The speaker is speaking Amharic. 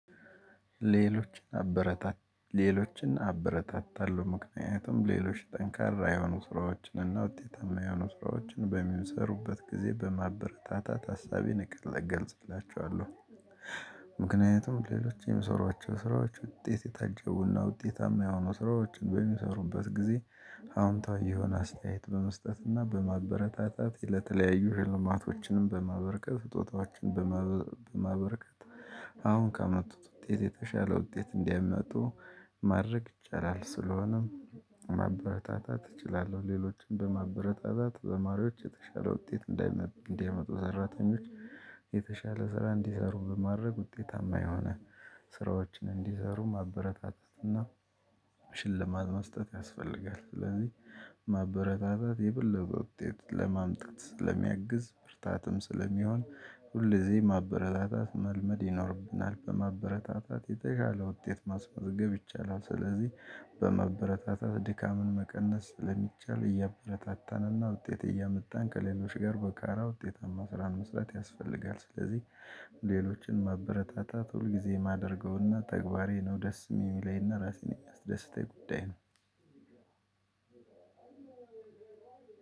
ሌሎችን አበረታታለሁ ምክንያቱም ሌሎች ጠንካራ የሆኑ ስራዎችን እና ውጤታማ የሆኑ ስራዎችን በሚሰሩበት ጊዜ በማበረታታት ሀሳቤን እገልጽላችኋለሁ። ምክንያቱም ሌሎች የሚሰሯቸው ስራዎች ውጤት የታጀቡና ውጤታማ የሆኑ ስራዎችን በሚሰሩበት ጊዜ አዎንታዊ የሆነ አስተያየት በመስጠትና በማበረታታት ለተለያዩ ሽልማቶችንም በማበርከት ስጦታዎችን በማበርከት። አሁን ካመጡት ውጤት የተሻለ ውጤት እንዲያመጡ ማድረግ ይቻላል ስለሆነም ማበረታታት እችላለሁ። ሌሎችንም በማበረታታት ተማሪዎች የተሻለ ውጤት እንዲያመጡ እንዲያመጡ ሰራተኞች የተሻለ ስራ እንዲሰሩ በማድረግ ውጤታማ የሆነ ስራዎችን እንዲሰሩ ማበረታተት እና ሽልማት መስጠት ያስፈልጋል። ስለዚህ ማበረታታት የበለጠ ውጤት ለማምጣት ስለሚያግዝ ብርታትም ስለሚሆን ሁሌ እዚ ማበረታታት መልመድ ይኖርብናል በማበረታታት የተሻለ ውጤት ማስመዝገብ ይቻላል። ስለዚህ በመበረታታት ድካምን መቀነስ ለሚቻል እያበረታታንና ውጤት እያመጣን ከሌሎች ጋር በጋራ ውጤታማ ስራን መስራት ያስፈልጋል። ስለዚህ ሌሎችን መበረታታት ሁልጊዜ የማደርገውና ተግባሬ ነው ደስ የሚለኝና ራሴን የሚያስደስተኝ ጉዳይ ነው።